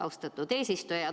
Austatud eesistuja!